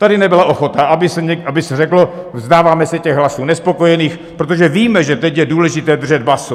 Tady nebyla ochota, aby se řeklo: Vzdáváme se těch hlasů nespokojených, protože víme, že teď je důležité držet basu.